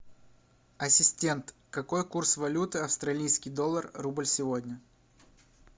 ассистент какой курс валюты австралийский доллар рубль сегодня